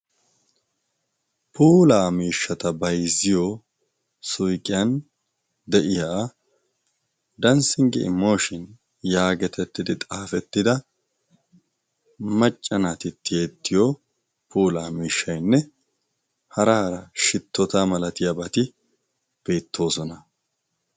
Pula miishshata bayzziyo suqiyan de'iya danssinggii mooshin yaagetettidi xaafettida maccanaati tiyeettiyo polaa miishshaynne haraara shittota malatiyaabati beettoosona.